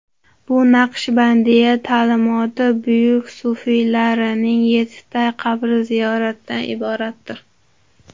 Bu Naqshbandiya ta’limoti buyuk sufiylarining yettita qabri ziyoratidan iboratdir.